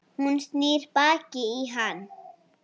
Hún snýr baki í hann.